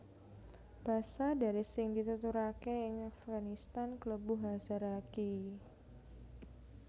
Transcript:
Basa Dari sing dituturaké ing Afganistan klebu Hazaragi